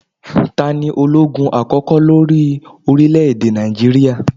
6.Ta ní ológun àkókò lórí orílẹ̀ èdè Nàìjíríà?